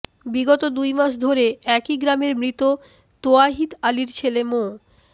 বিগত দুই মাস ধরে একই গ্রামের মৃত তোয়াহিদ আলীর ছেলে মো